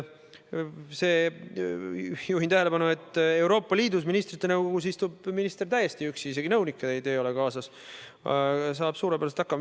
Juhin tähelepanu sellele, et Euroopa Liidu ministrite nõukogus istub minister täiesti üksi, isegi nõunikke ei ole kaasas, ja saab suurepäraselt hakkama.